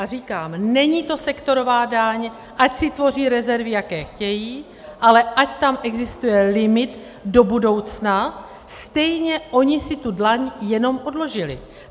A říkám, není to sektorová daň, ať si tvoří rezervy, jaké chtějí, ale ať tam existuje limit do budoucna, stejně oni si tu daň jenom odložili.